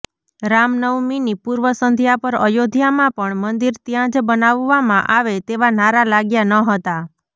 રામનવમીની પૂર્વ સંધ્યા પર અયોધ્યામાં પણ મંદિર ત્યાંજ બનાવવામાં આવે તેવા નારા લાગ્યા ન હતા